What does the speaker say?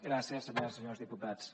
gràcies senyores i senyors diputats